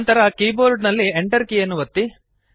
ನಂತರ ಕೀಬೋರ್ಡ್ ನಲ್ಲಿ Enter ಕೀಯನ್ನು ಒತ್ತಿ